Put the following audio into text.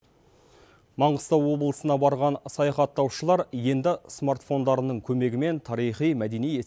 маңғыстау облысына барған саяхаттаушылар енді смартфондарының көмегімен тарихи мәдени